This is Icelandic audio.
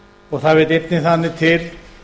og það vill einnig þannig til